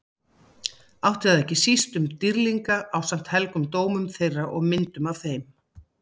Átti það ekki síst við um dýrlinga ásamt helgum dómum þeirra og myndum af þeim.